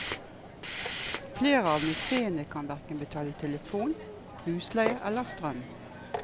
Flere av museene kan hverken betale telefon, husleie eller strøm.